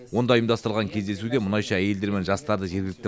онда ұйымдастырылған кездесуде мұнайшы әйелдер мен жастарды жергілікті